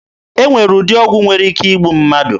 E nwere ụdị ọgwụ nwere ike igbu mmadụ.